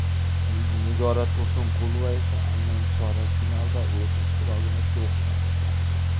Nigora Tursunqulova esa aynan chorak finalda o‘z ishtirokini to‘xtatdi.